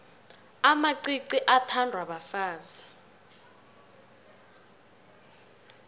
amacici athandwa bafazi